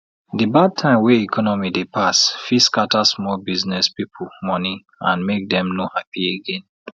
de bad time wey economy dey pass fit scatter small business people monie and make dem no happy again